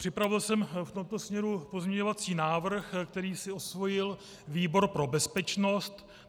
Připravil jsem v tomto směru pozměňovací návrh, který si osvojil výbor pro bezpečnost.